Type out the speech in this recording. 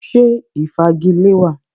Ṣé ìfagilée wa?